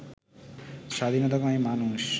স্বাধীনতাকামী মানুষ